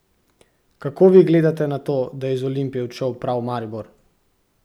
Kako vi gledate na to, da je iz Olimpije odšel prav v Maribor?